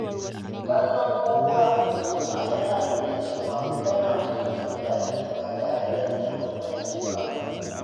Kallon kowa da ƙima yana nuna cewa kana mutunta mutane ba tare da nuna bambanci ba.